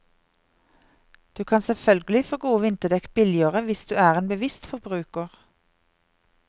Du kan selvfølgelig få gode vinterdekk billigere hvis du er en bevisst forbruker.